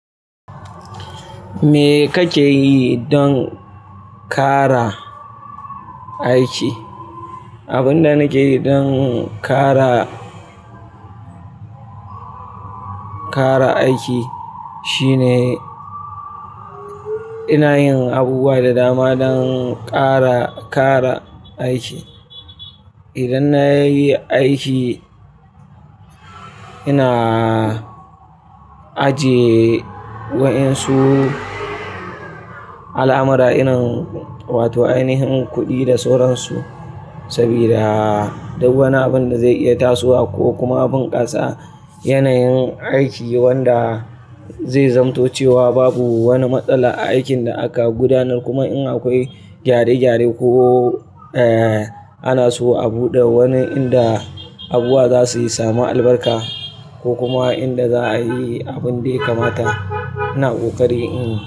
Me kake yi don kara aiki? Abin da nake yi don kara, kara aiki shine ina yin abubuwa da dama don kara, kara aiki. Idan na yi aiki, ina ajiye waɗansu al'amura irin, wato ainihin kuɗi da sauransu sabida duk wani abin da zai iya tasowa ko kuma abin ƙasa, yanayin aiki wanda zai zamtace wa babu wani matsala a aikin da aka gudanar kuma in akwai gyare-gyare ko, eh, ana so a buɗe wani inda abubuwa za su samu albarka ko kuma inda za a yi abin dai kamata, ina ƙoƙari in.